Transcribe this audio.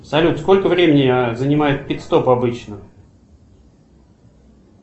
салют сколько времени занимает пит стоп обычно